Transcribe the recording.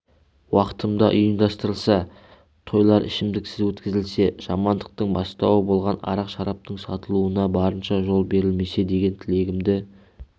уақытында ұйымдастырылса тойлар ішімдіксіз өткізілсе жамандықтың бастауы болған арақ-шараптың сатылуына барынша жол берілмесе деген тілегімді